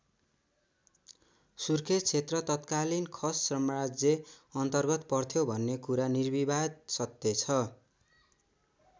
सुर्खेत क्षेत्र तत्कालीन खस साम्राज्य अन्तरगत पर्थ्यो भन्ने कुरा निर्विवाद सत्य छ।